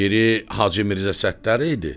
Biri Hacı Mirzə Səttar idi.